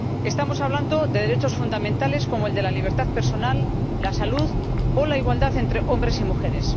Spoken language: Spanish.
Estamos hablando de derechos fundamentales como el de la libertad personal, la salud o la igualdad entre hombres y mujeres.